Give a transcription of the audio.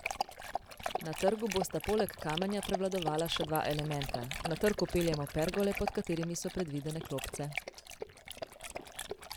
Na trgu bosta poleg kamenja prevladovala še dva elementa: "Na trg vpeljemo pergole, pod katerimi so predvidene klopce.